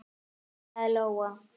kallaði Lóa.